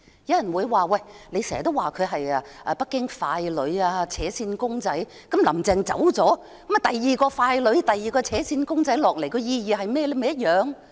有人會說，我經常指她是北京傀儡、"扯線公仔"，即使"林鄭"下台，也有另一個傀儡、"扯線公仔"上台，當中有何意義？